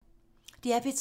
DR P3